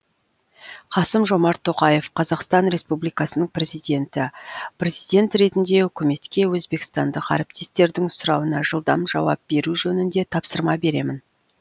қасым жомарт тоқаев қазақстан республикасының президенті президент ретінде үкіметке өзбекстандық әріптестердің сұрауына жылдам жауап беру жөнінде тапсырма беремін